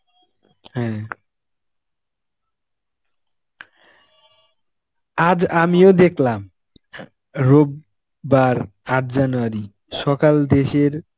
হ্যাঁ. আজ আমিও দেখলাম, রোববার আট January সকাল দেশের